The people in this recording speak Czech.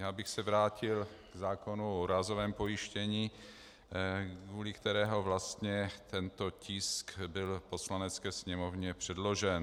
Já bych se vrátil k zákonu o úrazovém pojištění, kvůli kterému vlastně tento tisk byl Poslanecké sněmovně předložen.